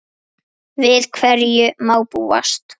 Við hverju má búast?